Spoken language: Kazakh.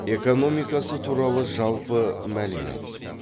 экономикасы туралы жалпы мәлімет